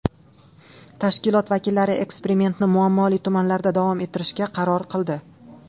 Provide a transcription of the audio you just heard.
Tashkilot vakillari eksperimentni muammoli tumanlarda davom ettirishga qaror qildi.